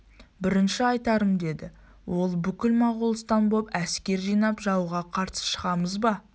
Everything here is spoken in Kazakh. бірінші айтарым деді ол бүкіл моғолстан боп әскер жинап жауға қарсы шығамыз ба